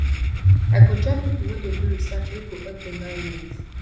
i go join pipo wey dey do research wey go help di environment